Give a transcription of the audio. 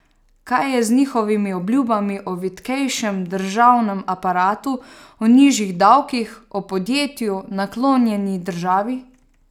Kaj je z njihovimi obljubami o vitkejšem državnem aparatu, o nižjih davkih, o podjetju naklonjeni državi?